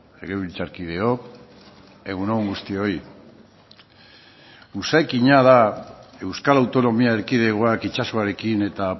legebiltzarkideok egun on guztioi jakina da euskal autonomia erkidegoak itsasoarekin eta